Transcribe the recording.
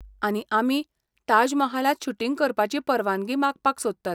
आनी आमी ताजमहालांत शूटिंग करपाची परवानगी मागपाक सोदतात.